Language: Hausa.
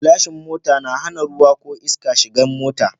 Gilashin mota na hana ruwa ko iska shigan mota